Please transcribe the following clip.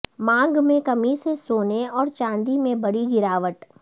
مانگ میں کمی سے سونے اور چاندی میں بڑی گراوٹ